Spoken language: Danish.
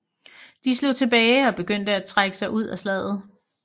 De slog tilbage og begyndte at trække sig ud af slaget